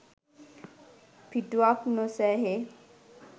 පිටුවක් නො සෑහේ